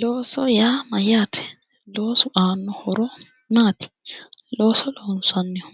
Loso yaa mayyaate, loosu aanno horo maati? looso loonsannihu